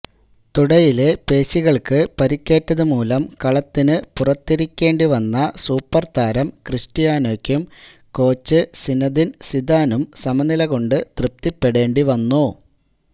തുടയിലെ പേശികൾക്ക് പരിക്കേറ്റതുമൂലം കളത്തിനു പുറത്തിരിക്കേണ്ടി വന്ന സൂപ്പർതാരം ക്രിസ്റ്റ്യാനോക്കും കോച്ച് സിനദിൻ സിദാനും സമനിലകൊണ്ട് തൃപ്തിപ്പെടേണ്ടി വന്നു